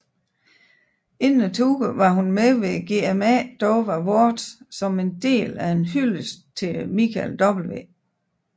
Inden touren var hun med ved GMA Dove Awards som en del af en hyldest til Michael W